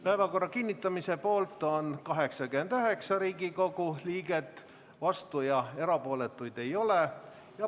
Päevakorra kinnitamise poolt on 89 Riigikogu liiget, vastuolijaid ega erapooletuid ei ole.